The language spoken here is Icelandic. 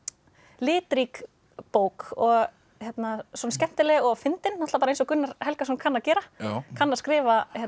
litrík bók og skemmtileg og fyndin eins og Gunnar Helgason kann að gera kann að skrifa